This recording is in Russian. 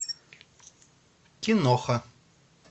киноха